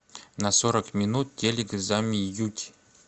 на сорок минут телик замьють